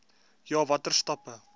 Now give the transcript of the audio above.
ja watter stappe